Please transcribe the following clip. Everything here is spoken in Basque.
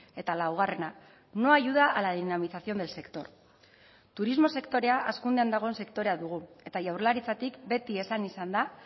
eta laugarrena no ayuda a la dinamización del sector turismo sektorea hazkundean dagoen sektorea dugu eta jaurlaritzatik beti esan izan da